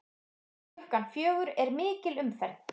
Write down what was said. Klukkan fjögur er mikil umferð.